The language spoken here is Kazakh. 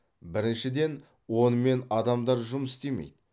біріншіден онымен адамдар жұмыс істемейді